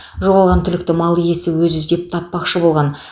жоғалған түлікті мал иесі өзі іздеп таппақшы болған